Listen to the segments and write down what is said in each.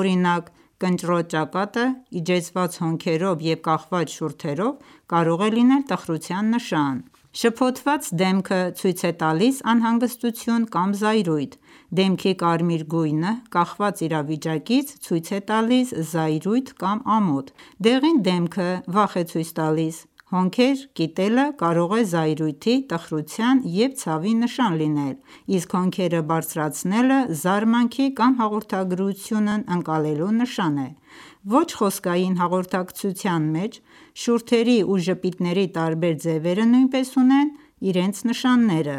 Օրինակ՝ կնճռոտ ճակատը՝ իջեցված հոնքերով և կախված շուրթերով, կարող է լինել տխրության նշան։ Շփոթված դեմքը ցույց է տալիս անհանգստություն կամ զայրույթ: Դեմքի կարմիր գույնը, կախված իրավիճակից, ցույց է տալիս զայրույթ կամ ամոթ։ Դեղին դեմքը վախ է ցույց տալիս: Հոնքերը կիտելը կարող է զայրույթի, տխրութան և ցավի նշան լինել Իսկ հոնքերը բարձրացնելը զարմանքի կամ հաղորդագրությունն ընկալելու նշան է։ Ոչ խոսքային հաղորդակցության մեջ շուրթերի ու ժպիտների տարբեր ձևերը նույնպես ունեն իրենց նշանները։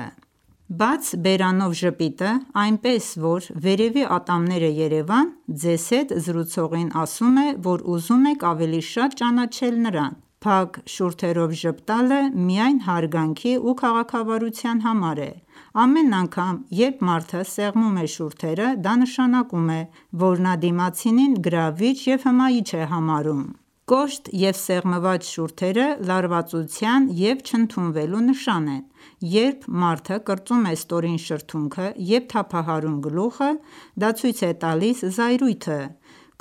Բաց բերանով ժպիտը, այնպես, որ վերևի ատամները երևան, ձեզ հետ զրուցողին ասում է, որ ուզում եք ավելի շատ ճանաչել նրան։ Փակ շուրթերով ժպտալը միայն հարգանքի ու քաղաքավարության համար է։ Ամեն անգամ, երբ մարդը սեղմում է շուրթերը, դա նշանակում է, որ նա դիմացինին գրավիչ և հմայիչ է համարում։ Կոշտ և սեղմված շուրթերը լարվածության և չընդունվելու նշան են։ Երբ մարդը կրծում է ստորին շրթունքը և թափահարում գլուխը, դա ցույց է տալիս զայրույթը: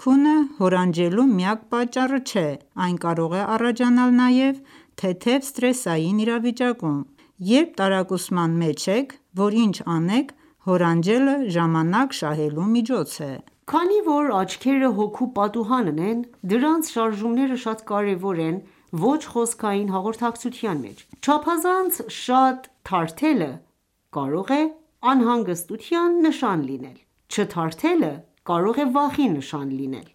Քունը հորանջելու միակ պատճառը չէ, այն կարող է առաջանալ նաև թեթև սթրեսային իրավիճակում։ Երբ տարակուսման մեջ եք, որ ինչ անեք, հորանջելը ժամանակ շահելու միջոց է: Քանի որ աչքերը հոգու պատուհանն են, դրանց շարժումները շատ կարևոր են ոչ խոսքային հաղորդակցության մեջ: Չափազանց շատ թարթելը կարող է անհանգստության նշան լինել։ Չթարթելը կարող է վախի նշան լինել։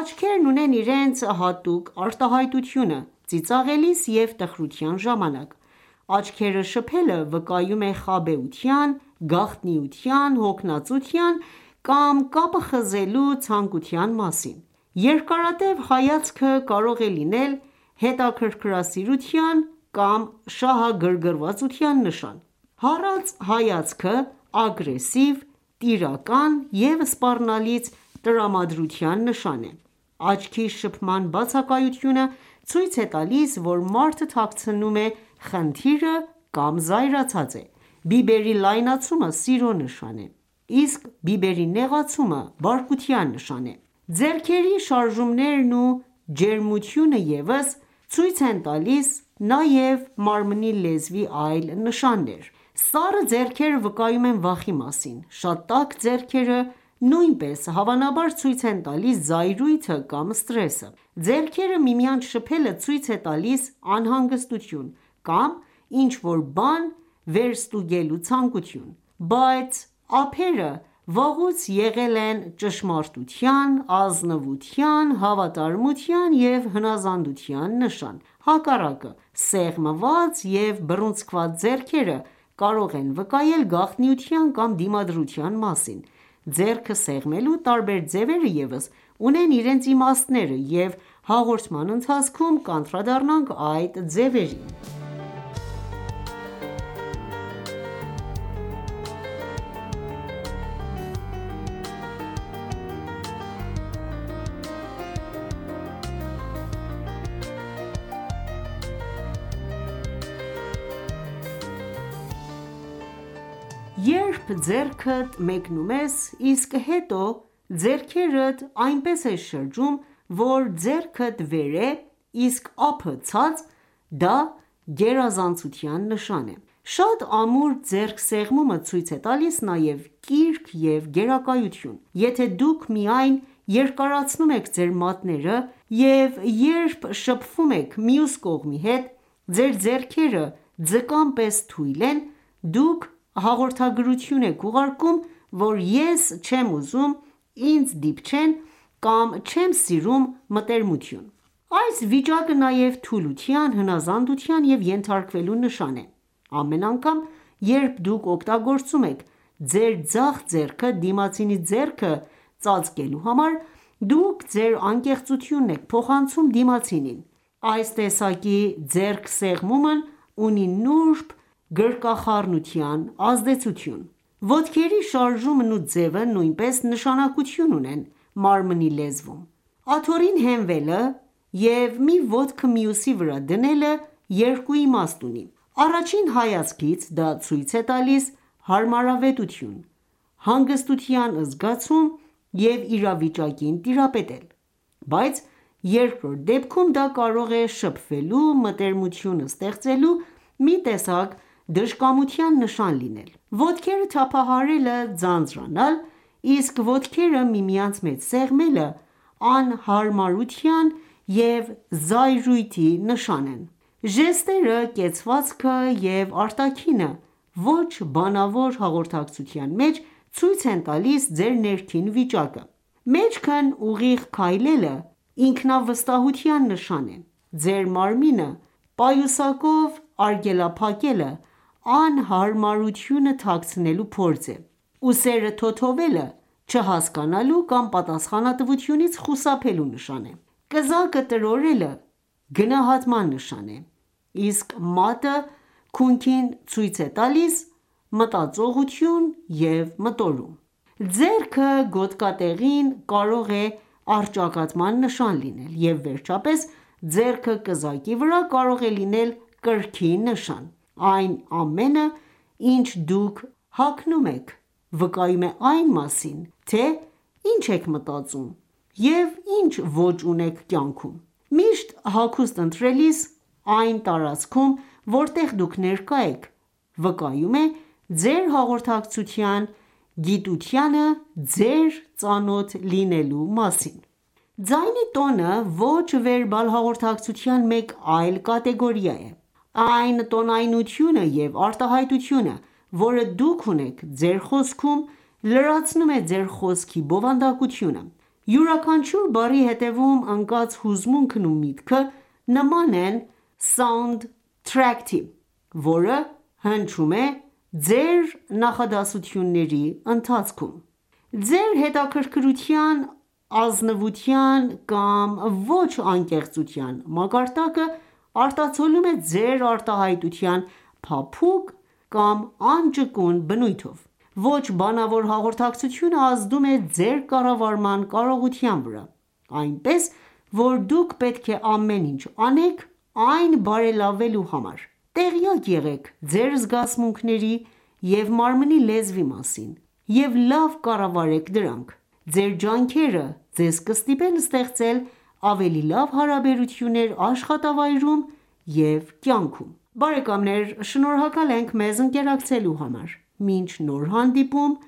Աչքերն ունեն իրենց հատուկ արտահայտությունը ծիծաղելիս և տխրության ժամանակ։ Աչքերը շփելը վկայում է խաբեության, գաղտնիության, հոգնածության կամ կապը խզելու ցանկության մասին: Երկարատև հայացքը կարող է լինել հետաքրքրասիրության կամ շահագրգռվածության նշան: Հառած հայացքը ագրեսիվ, տիրական և սպառնալից տրամադրության նշան է: Աչքի շփման բացակայությունը ցույց է տալիս, որ մարդը թաքցնում է խնդիրը կամ զայրացած է: Բիբերի լայնացումը սիրո նշան է. Իսկ բիբերի նեղացումը բարկության նշան է: Ձեռքերի շարժումներն ու ջերմությունը ևս ցույց են տալիս նաև մարմնի լեզվի այլ նշաններ: Սառը ձեռքերը վկայում են վախի մասին: Շատ տաք ձեռքերը նույնպես հավանաբար ցույց են տալիս զայրույթը կամ սթրեսը: Ձեռքերը միմյանց շփելը ցույց է տալիս անհանգստություն կամ ինչ-որ բան վերստուգելու ցանկություն: Բաց ափերը վաղուց եղել են ճշմարտության, ազնվության, հավատարմության և հնազանդության նշան: Ընդհակառակը, սեղմված և բռունցքված ձեռքերը կարող են վկայել գաղտնիության կամ դիմադրության մասին: Ձեռք սեղմելու տարբեր ձևերը ևս ունեն իրենց իմաստները, և հաղորդման ընթացքում կանդրադառնանք այդ ձևերին: Երբ ձեռքդ մեկնում ես, իսկ հետո ձեռքերդ այնպես ես շրջում, որ ձեռքդ վեր է, իսկ ափը ցած, դա գերազանցության նշան է։ Շատ ամուր ձեռքսեղմումը ցույց է տալիս նաև կիրք և գերակայություն: Եթե ​​դուք միայն երկարացնում եք ձեր մատները, և երբ շփվում եք մյուս կողմի հետ, ձեր ձեռքերը ձկան պես թույլ են. Դուք հաղորդագրություն եք ուղարկում, որ «ես չեմ ուզում ինձ դիպչեն, չեմ սիրում մտերմություն»։ Այս վիճակը նաև թուլության, հնազանդության և ենթարկվելու նշան է։ Ամեն անգամ, երբ դուք օգտագործում եք ձեր ձախ ձեռքը դիմացինի ձեռքը ծածկելու համար, դուք ձեր անկեղծությունն եք փոխանցում դիմացինին: Այս տեսակի ձեռքսեղմումն ունի նուրբ գրկախառնության ազդեցություն։ Ոտքերի շարժումն ու ձևը նույնպես նշանակություն ունեն մարմնի լեզվում: Աթոռին հենվելը և մի ոտքը մյուսի վրա դնելը երկու իմաստ ունի. Առաջին հայացքից դա ցույց է տալիս հարմարավետություն, հանգստության զգացում և իրավիճակին տիրապետել։ Բայց երկրորդ դեպքում դա կարող է շփվելու, մտերմություն ստեղծելու մի տեսակ դժկամության նշան լինել։ Ոտքերը թափահարելը՝ ձանձրանալ, իսկ ոտքերը միմյանց մեջ սեղմելը անհարմարություն և զայրույթ են ցույց տալիս։ Ժեստերը, կեցվածքը և արտաքինը ոչ բանավոր հաղորդակցության մեջ ցույց են տալիս ձեր ներքին վիճակը: Մեջքն ուղիղ քայլելը ինքնավստահության նշան է: Ձեր մարմինը պայուսակով արգելափակելը անհարմարությունը թաքցնելու փորձ է: Ուսերը թոթվելը չհասկանալու կամ պատասխանատվությունից խուսափելու նշան է: Կզակը տրորելը գնահատման նշան է, իսկ մատը քունքին ցույց է տալիս մտածողություն և մտորում: Ձեռքը գոտկատեղին կարող է առճակատման նշան լինել, և վերջապես ձեռքը կզակի վրա կարող է լինել կրքի նշան: Այն ամենը, ինչ դուք հագնում եք, վկայում է այն մասին, թե ինչ եք մտածում և ինչ ոճ ունեք կյանքում: Ճիշտ հագուստ ընտրելը այն տարածքում, որտեղ դուք ներկա եք, վկայում է ձեր հաղորդակցության գիտությանը ձեր ծանոթ լինելու մասին: Ձայնի տոնը ոչ վերբալ հաղորդակցության մեկ այլ կատեգորիա է: Այն տոնայնությունը և արտահայտությունը, որը դուք ունեք ձեր խոսքում, լրացնում է ձեր խոսքի բովանդակությունը: Յուրաքանչյուր բառի ետևում ընկած հուզմունքն ու միտքը նման են սաունդթրեքի, որը հնչում է ձեր նախադասությունների ընթացքում: Ձեր հետաքրքրության, ազնվության կամ ոչ անկեղծության մակարդակը արտացոլվում է ձեր արտահայտության փափուկ կամ անճկուն բնույթով: Ոչ բանավոր հաղորդակցությունը ազդում է ձեր կառավարման կարողության վրա, այնպես որ դուք պետք է ամեն ինչ անեք այն բարելավելու համար: Տեղյակ եղեք ձեր զգացմունքների և մարմնի լեզվի մասին և լավ կառավարեք դրանք: Ձեր ջանքերը ձեզ կստիպեն ստեղծել ավելի լավ հարաբերություններ աշխատավայրում և կյանքում: Բարեկամներ շնորհակալ ենք մեզ ընկերակցելու համար: Մինչ նոր հանդիպում